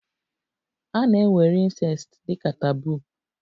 A na-ewere Incest dị ka taboo